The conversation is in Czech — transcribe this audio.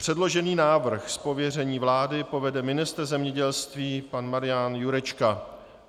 Předložený návrh z pověření vlády uvede ministr zemědělství pan Marian Jurečka.